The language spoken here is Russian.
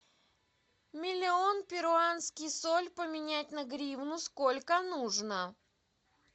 миллион перуанский соль поменять на гривну сколько нужно